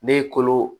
Ne ye kolo